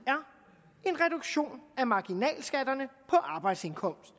er marginalskatterne på arbejdsindkomst